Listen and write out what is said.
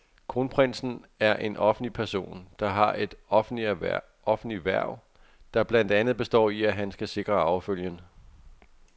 Kronprinsen er en offentlig person, der har et offentligt hverv, der blandt andet består i, at han skal sikre arvefølgen.